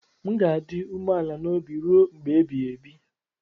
M ga-adị umeala n'obi ruo mgbe ebighị ebi.